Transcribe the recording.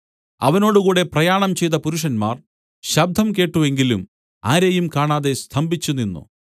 അവനോടുകൂടെ പ്രയാണം ചെയ്ത പുരുഷന്മാർ ശബ്ദം കേട്ട് എങ്കിലും ആരെയും കാണാതെ സ്തംഭിച്ചുനിന്നു